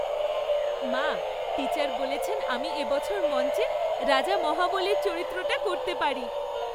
মা, টিচার বলেছেন আমি এ বছর মঞ্চে রাজা মহাবলীর চরিত্রটা করতে পারি।